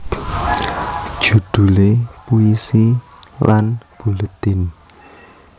Judule Puisi lan Buletin